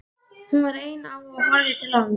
Hún var ein á og horfði til lands.